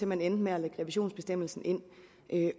man endte med at lægge revisionsbestemmelsen ind